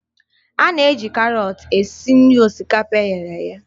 A na-eji karọt esi nri osikapa e ghere eghe